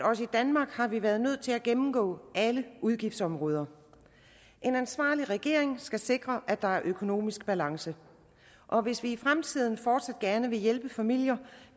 også i danmark har været nødt til at gennemgå alle udgiftsområder en ansvarlig regering skal sikre at der er økonomisk balance og hvis vi i fremtiden fortsat gerne vil hjælpe familier